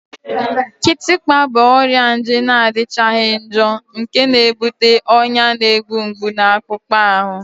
Kịtịkpa bụ ọrịa nje na-adịchaghị njọ nke na-ebute ọnya na-egbu mgbu na akpụkpọ ahụ